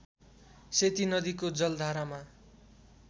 सेती नदीको जलधारामा